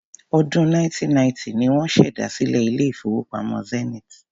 Ọdún 1990 ni wọ́n ṣèdásílẹl ilé-ìfowópamọ́ Zenith.